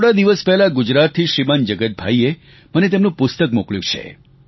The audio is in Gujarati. થોડા દિવસ પહેલાં ગુજરાતથી શ્રીમાન જગતભાઈએ મને એમનું પુસ્તક મોકલ્યું છે